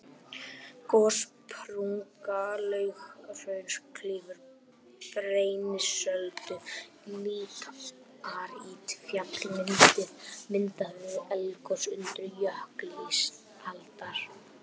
Gossprunga Laugahrauns klýfur Brennisteinsöldu, líparítfjall myndað við eldgos undir jökli ísaldar.